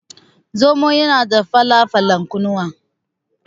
Zomo yana da fala falan kunnuwa.